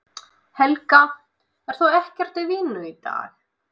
Helga: Ert þú ekkert í vinnu í dag?